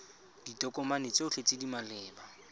ditokomane tsotlhe tse di maleba